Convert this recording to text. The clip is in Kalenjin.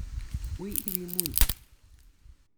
Wi ipi muny.